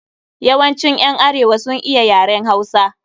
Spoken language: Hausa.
Yawancin ƴan arewa sun iya yaren Hausa.